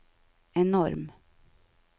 enorm